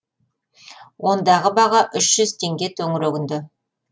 ондағы баға үш жүз теңге төңірегінде